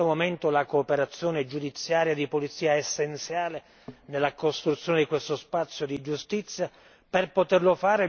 Non vi è dubbio che in questo momento la cooperazione giudiziaria di polizia è essenziale nella costruzione di questo spazio di giustizia.